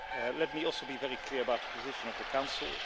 Let me also be very clear about the position of the Council.